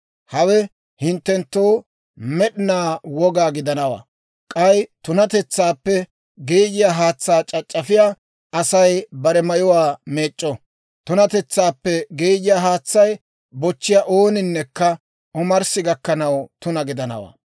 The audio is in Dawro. Hawe hinttenttoo med'inaa woga gidanawaa. K'ay tunatetsaappe geeyiyaa haatsaa c'ac'c'afiyaa Asay bare mayuwaa meec'c'o; tunatetsaappe geeyiyaa haatsaa bochchiyaa ooninnekka omarssi gakkanaw tuna gidanawaa.